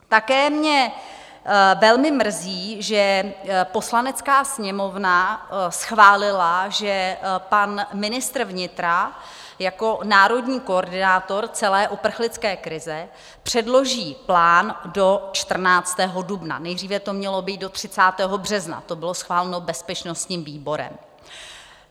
Také mě velmi mrzí, že Poslanecká sněmovna schválila, že pan ministr vnitra jako národní koordinátor celé uprchlické krize předloží plán do 14. dubna, nejdříve to mělo být do 30. března, to bylo schváleno bezpečnostním výborem.